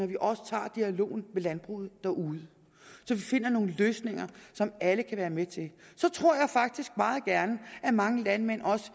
vi også tager dialogen med landbruget derude så vi finder nogle løsninger som alle kan være med til så tror jeg faktisk at mange landmænd også